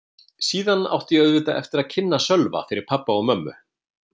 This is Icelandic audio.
Síðan átti ég auðvitað eftir að kynna Sölva fyrir pabba og mömmu.